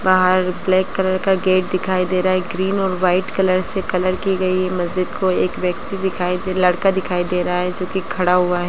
बाहर black colour का gate दिखाई दे रहा है | ग्रीन और वाइट कलर से कलर की गई है | मस्जिद को एक व्यक्ति दिखाई दे लड़का दिखाई दे रहा है जोकि खड़ा हुआ है।